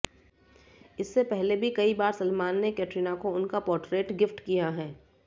इससे पहले भी कई बार सलमान ने कैटरीना को उनका पोट्रेट गिफ्ट किया है